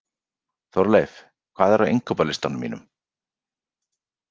Þórleif, hvað er á innkaupalistanum mínum?